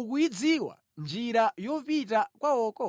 ukuyidziwa njira yopita kwawoko?